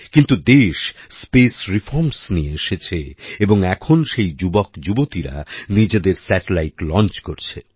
কিন্তু দেশ space reforms নিয়ে এসেছে এবং এখন সেই যুবক যুবতীরা নিজেদের স্যাটেলাইট লঞ্চ করছে